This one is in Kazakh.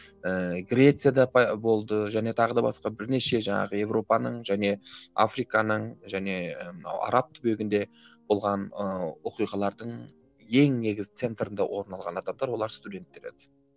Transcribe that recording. ііі грецияда болды және тағы да басқа бірнеше жаңағы европаның және африканың және мынау араб түбегінде болған ыыы оқиғалардың ең негізгі центрінде орын алған адамдар олар студенттер еді